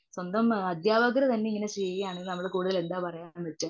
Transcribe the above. സ്വന്തം അദ്ത്യപകര് തന്നെ ഇങ്ങനെ ചെയ്യുവാനെങ്കിൽ പിന്നെ നമ്മൾ കൂടുതൽ എന്താ പറയുക.